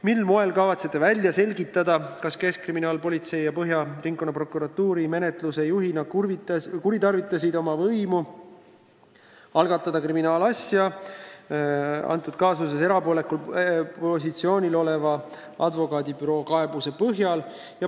Mil moel kavatsete välja selgitada, kas Keskkriminaalpolitsei ja eeskätt Põhja Ringkonnaprokuratuur menetluse juhina kuritarvitasid oma võimu, algatades kriminaalasja antud kaasuses erapoolikul positsioonil oleva advokaadibüroo kaebuse põhjal?